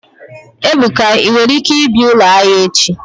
Ebuka, i nwere ike bia ulo ahia echi?